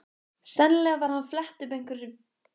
Sennilega var hann að fletta upp í einhverri spjaldskrá.